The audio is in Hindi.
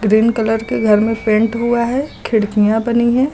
ग्रीन कलर के घर में पेंट हुआ है खिड़कियां बनी है।